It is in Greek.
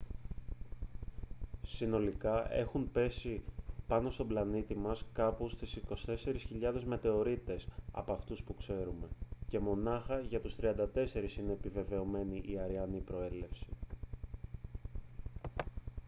συνολικά έχουν πέσει πάνω στον πλανήτη μας κάπου στους 24.000 μετεωρίτες από αυτούς που ξέρουμε και μονάχα για τους 34 είναι επιβεβαιωμένη η αρειανή προέλευση